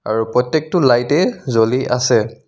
আৰু প্ৰত্যেকটো লাইট এ জ্বলি আছে.